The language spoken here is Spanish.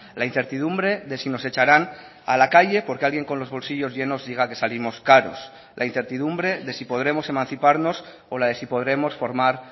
la incertidumbre de si nos echarán a la calle porque alguien con los bolsillos llenos diga que salimos caros la incertidumbre de si podremos emanciparnos o la de si podremos formar